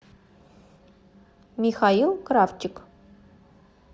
михаил кравчик